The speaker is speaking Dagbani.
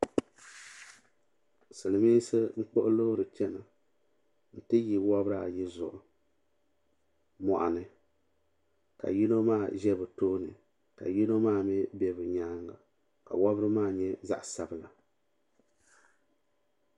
Silimiinsi n kpuɣi loori n chena n ti yi wobri ayi zuɣu moɣuni ka yino maa ʒɛ bɛ tooni ka yino maa mee bɛ bɛ nyaanga ka wobri maa nyɛ zaɣa sabila.